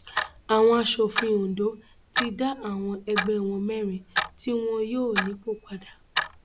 àwọn aṣòfin ondo ti dá àwọn ẹgbẹ wọn mẹrin tí wọn yọ nípò padà